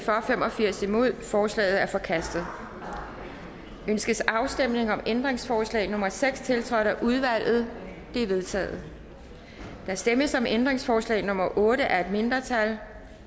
fem og firs ændringsforslaget er forkastet ønskes afstemning om ændringsforslag nummer seks tiltrådt af udvalget det er vedtaget der stemmes om ændringsforslag nummer otte af et mindretal